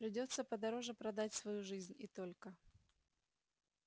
придётся подороже продать свою жизнь и только